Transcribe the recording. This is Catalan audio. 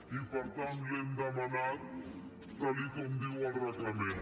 i per tant l’hi hem demanat tal com diu el reglament